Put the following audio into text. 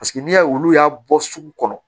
Paseke n'i y'a ye olu y'a bɔ sugu kɔnɔ